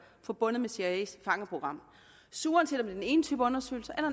forbundet med cia’s fangeprogram så uanset om det er den ene type undersøgelse eller